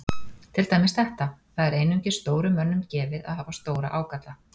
Til dæmis þetta: Það er einungis stórum mönnum gefið að hafa stóra ágalla.